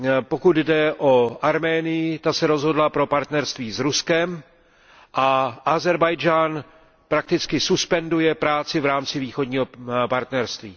Pokud jde o Arménii, ta se rozhodla pro partnerství s Ruskem, a Ázerbájdžán prakticky suspenduje práci v rámci Východního partnerství.